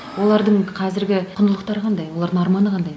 олардың қазіргі құндылықтары қандай олардың арманы қандай